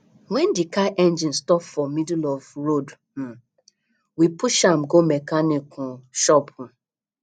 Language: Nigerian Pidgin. wen di car engine stop for middle of road um we push am go mechanic um shop um